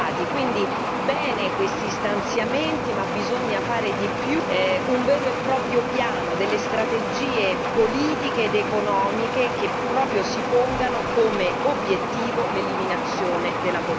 quindi bene questi stanziamenti, ma bisogna fare di più un vero e proprio piano delle strategie politiche ed economiche che proprio si pongano come obiettivo l'eliminazione della povertà.